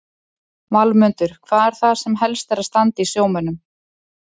Valmundur, hvað er það sem helst er að standa í sjómönnum?